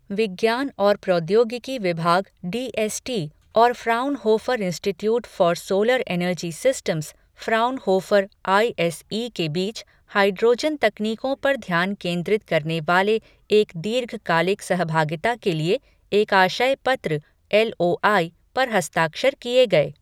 विज्ञान और प्रौद्योगिकी विभाग डी एस टी और Fraunhofer institute for solar energy systems, Fraunhofer I S E के बीच हाइड्रोजन तकनीकों पर ध्यान केंद्रित करने वाले एक दीर्घकालिक सहभागिता के लिए एक आशय पत्र एल ओ आई पर हस्ताक्षर किए गए।